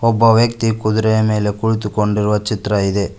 ಒಬ್ಬ ವ್ಯಕ್ತಿ ಕುದುರೆಯ ಮೇಲೆ ಕುಳಿತುಕೊಂಡಿರುವ ಚಿತ್ರ ಇದೆ.